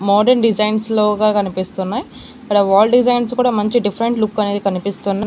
Modern design లోగా కనిపిస్తూ ఉన్నాయి ఇక్కడ వాల్ డిజైన్స్ కూడా మంచి డిఫరెంట్ లుక్ అనేది కనిపిస్తున్నాయి.